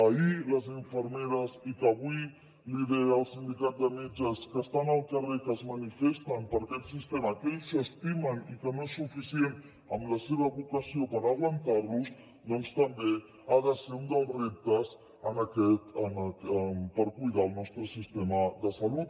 ahir les infermeres i avui el sindicat de metges que estan al carrer que es manifesten per aquest sistema que ells s’estimen i que no és suficient amb la seva vocació per aguantarlo doncs també ha de ser un dels reptes per cuidar el nostre sistema de salut